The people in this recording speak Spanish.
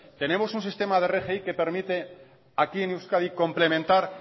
tenemos un sistema de rgi que permite aquí en euskadi complementar